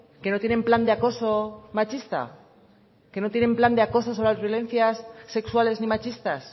que no tienen plan de acoso machista que no tienen plan de acoso sobre las violencias sexuales ni machistas